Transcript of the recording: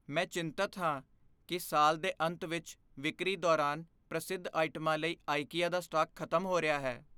ਮੈਂ ਚਿੰਤਤ ਹਾਂ ਕਿ ਸਾਲ ਦੇ ਅੰਤ ਵਿੱਚ ਵਿਕਰੀ ਦੌਰਾਨ ਪ੍ਰਸਿੱਧ ਆਈਟਮਾਂ ਲਈ ਆਈਕੀਆ ਦਾ ਸਟਾਕ ਖ਼ਤਮ ਹੋ ਰਿਹਾ ਹੈ।